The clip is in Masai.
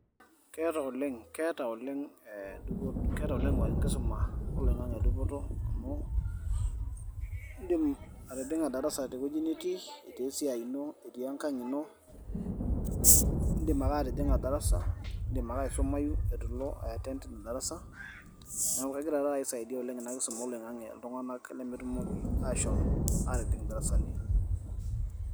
Keeta oleng' keeta oleng' dupoto keeta oleng' enkisuma oloing'ang'e dupoto amu eidim atijing'a darasa tewueji nitii, etii esiai ino, etii Engang' ino, iidim ake atijing'a darasa, idim ake aisumayu eitu ilo aiyatend Ina darasa neeku kegira taat oleng' aisaidia iltung'anak oleng' Ina kisuma oloing'ang'e iltung'anak lemetumoki aashom aatijing' idarasani.